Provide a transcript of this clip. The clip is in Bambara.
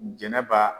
Jɛnɛba